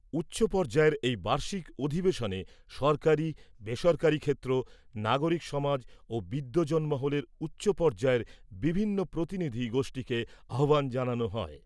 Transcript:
উচ্চ পর্যায়ের এই বার্ষিক অধিবেশনে সরকারি , বেসরকারি ক্ষেত্র , নাগরিক সমাজ ও বিদ্বজ্জন মহলের উচ্চ পর্যায়ের বিভিন্ন প্রতিনিধি গোষ্ঠীকে আহ্বান জানানো হয় ।